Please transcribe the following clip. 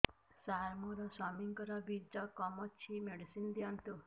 ସାର ମୋର ସ୍ୱାମୀଙ୍କର ବୀର୍ଯ୍ୟ କମ ଅଛି ମେଡିସିନ ଦିଅନ୍ତୁ